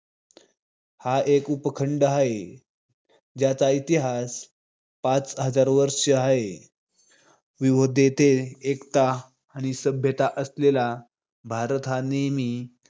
हा, एक उपखंड हाय. ज्याचा इतिहास पाच हजार वर्ष हाय. वर्षांचा आहे. विविधतेत एकता असलेली सभ्यता असलेला भारत हा नेहमी